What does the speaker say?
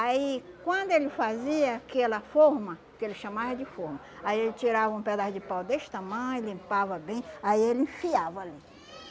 Aí, quando ele fazia aquela forma, que ele chamava de forma, aí ele tirava um pedaço de pau deste tamanho, limpava bem, aí ele enfiava ali.